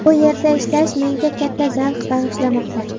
Bu yerda ishlash menga katta zavq bag‘ishlamoqda.